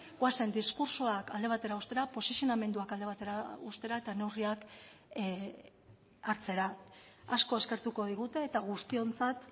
goazen diskurtsoak alde batera uztea posizionamenduak alde batera uztera eta neurriak hartzera asko eskertuko digute eta guztiontzat